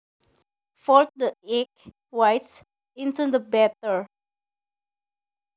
Fold the egg whites into the batter